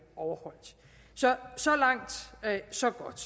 overholdt så så langt så godt